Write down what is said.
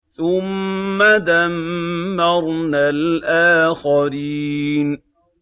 ثُمَّ دَمَّرْنَا الْآخَرِينَ